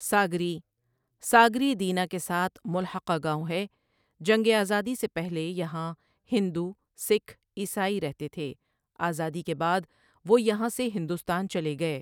ساگری ساگری دینہ کے ساتھ ملخقہ گاوں ہے جنگ آزادی سے پہلے یہاں ہندو ، سکھ، عیسائی رہتے تھے آزادی کے بعد وہ یہاں سے ہندوستان چلے گئے